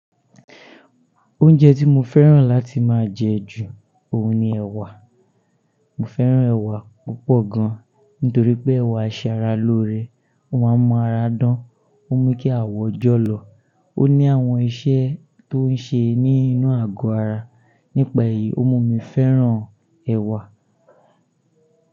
Oúnjẹ tí mo fẹ́ràn láti máa jẹ ju òun ni ẹ̀wà. Mo fẹ́ràn ẹ̀wà púpọ̀ gan, nítorí pé ẹ̀wà ṣe ara lóore, ó máa ń mọ ara dán, ó ń mú kí àwọ̀ jọ̀lọ̀, ó ní àwọn iṣẹ́ tó ń ṣe ní inú àgọ́ ara. Nípa èyí, ó mú mi fẹ́ràn ẹ̀wà.